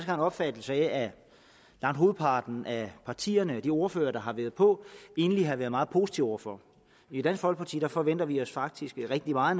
har en opfattelse af at langt hovedparten af partierne og de ordførere der har været på egentlig har været meget positive over for i dansk folkeparti forventer vi os faktisk rigtig meget